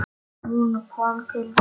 Hún kom til mín.